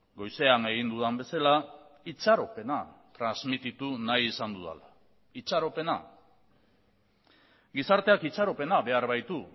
goizean egin dudan bezala itxaropena transmititu nahi izan dudala itxaropena gizarteak itxaropena behar baitu